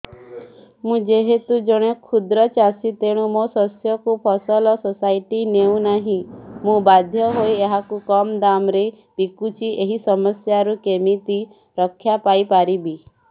ମୁଁ ଯେହେତୁ ଜଣେ କ୍ଷୁଦ୍ର ଚାଷୀ ତେଣୁ ମୋ ଶସ୍ୟକୁ ଫସଲ ସୋସାଇଟି ନେଉ ନାହିଁ ମୁ ବାଧ୍ୟ ହୋଇ ଏହାକୁ କମ୍ ଦାମ୍ ରେ ବିକୁଛି ଏହି ସମସ୍ୟାରୁ କେମିତି ରକ୍ଷାପାଇ ପାରିବି